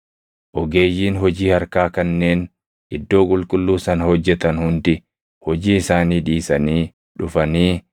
Ogeeyyiin hojii harkaa kanneen iddoo qulqulluu sana hojjetan hundi hojii isaanii dhiisanii dhufanii